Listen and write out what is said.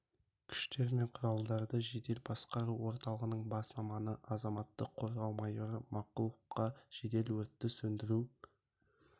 күштер мен құралдарды жедел басқару орталығының бас маманы азаматтық қорғау майоры мақұловқа жедел өртті сөндіру